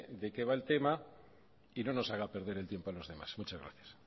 de qué va el tema y no nos haga perder el tiempo a los demás muchas gracias